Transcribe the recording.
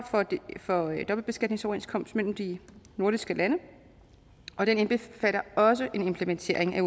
for dobbeltbeskatningsoverenskomst mellem de nordiske lande og den indbefatter også en implementering af